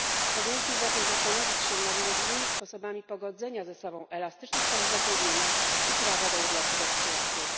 Powinniśmy zatem zastanowić się nad możliwymi sposobami pogodzenia ze sobą elastycznych form zatrudnienia i prawa do urlopu rodzicielskiego.